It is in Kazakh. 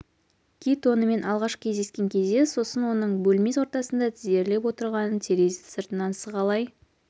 кит онымен алғаш кездескен кезде сосын оның бөлме ортасында тізерлеп отырғанын терезе сыртынан сығалай